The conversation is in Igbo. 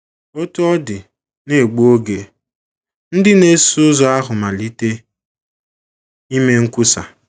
Otú ọ dị, n’egbu oge, ndị na - eso ụzọ ahụ malite ime nkwusa.